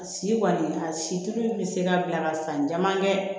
A si kɔni a situli bɛ se ka bila ka san caman kɛ